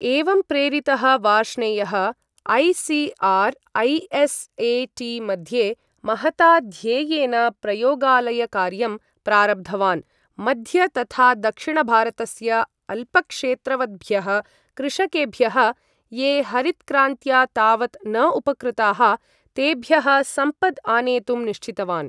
एवं प्रेरितः वार्ष्णेयः ऐ.सि.आर्.ऐ.एस्.ए.टि.मध्ये महता ध्येयेन प्रयोगालयकार्यं प्रारब्धवान् मध्य तथा दक्षिणभारतस्य अल्पक्षेत्रवद्भ्यः कृषकेभ्यः, ये हरित्क्रान्त्या तावत् न उपकृताः तेभ्यः सम्पद् आनेतुं निश्चितवान्।